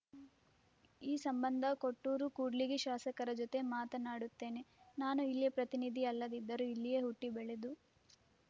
ಈ ಸಂಬಂಧ ಕೊಟ್ಟೂರು ಕೂಡ್ಲಿಗಿ ಶಾಸಕರ ಜೊತೆ ಮಾತನಾಡುತ್ತೇನೆ ನಾನು ಇಲ್ಲಿಯ ಪ್ರತಿನಿಧಿ ಅಲ್ಲದಿದ್ದರೂ ಇಲ್ಲಿಯೇ ಹುಟ್ಟಿಬೆಳೆದು